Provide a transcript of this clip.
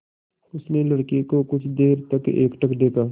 उसने लड़के को कुछ देर तक एकटक देखा